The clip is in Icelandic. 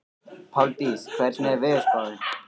Páldís, hvernig er veðurspáin?